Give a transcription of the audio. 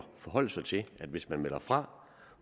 forholde sig til at hvis man melder fra